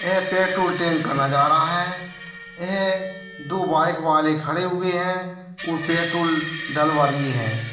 यह petrol tank का नजारा है यह दो बाइक वाले खड़े हुए है और पेट्रोल डलवा रही हैं।